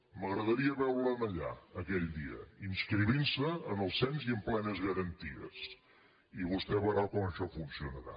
m’agradaria veure’l allà aquell dia inscrivint se en el cens i amb plenes garanties i vostè veurà com això funcionarà